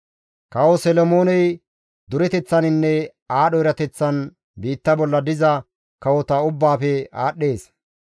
Kawo Solomooney dureteththaninne aadho erateththan biitta bolla diza kawota ubbaafe aadhdhees.